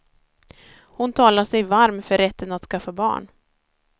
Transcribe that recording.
Hon talar sig varm för rätten att skaffa barn.